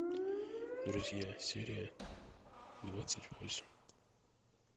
друзья серия двадцать восемь